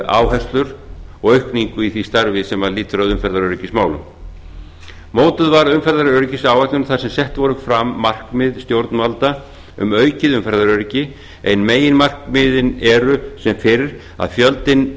áherslur og aukningu í því starfi sem lýtur að umferðaröryggismálum mótuð var umferðaröryggisáætlun þar sem sett voru fram markmið stjórnvalda um aukið umferðaröryggi en meginmarkmiðin eru sem fyrr að